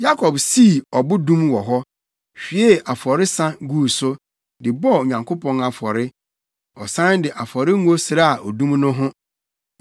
Yakob sii ɔbodum wɔ hɔ, hwiee afɔresa guu so, de bɔɔ Onyankopɔn afɔre. Ɔsan de afɔrengo sraa odum no ho.